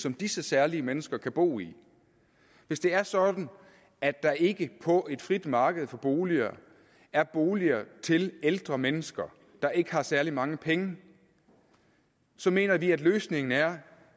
som disse særlige mennesker kan bo i hvis det er sådan at der ikke på et frit marked for boliger er boliger til ældre mennesker der ikke har særlig mange penge så mener vi at løsningen er